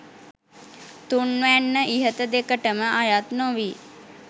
තුන්වැන්න ඉහත දෙකටම අයත් නොවී